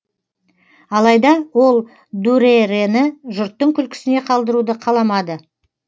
алайда ол дүрэрэні жұрттың күлкісіне қалдыруды қаламады